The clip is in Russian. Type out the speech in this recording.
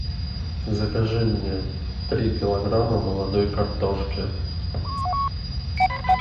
закажи мне три килограмма молодой картошки